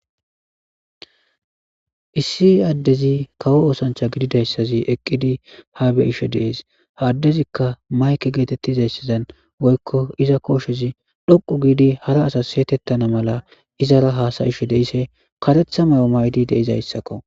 Issi adezi kawo osanichcha gididayisaz eqidi ha beishshe dees ha adezikka mayikke getetizayisazan woyikko iza koshez dhoqu gidi hara asas setetana mala izara hasaishs deishe kareththa mayo mayidi deizayisakko